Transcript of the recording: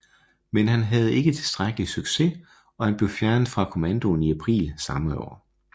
Men han havde ikke tilstrækkelig succes og han blev fjernet fra kommandoen i april samme år